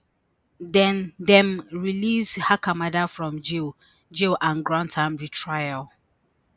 den dem release hakamada from jail jail and grant am retrial